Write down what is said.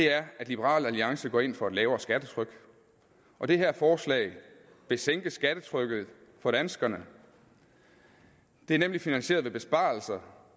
er at liberal alliance går ind for et lavere skattetryk og det her forslag vil sænke skattetrykket for danskerne det er nemlig finansieret ved besparelser